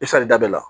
E salida bɛ la